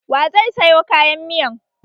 Wa zai sayo kayan miyan?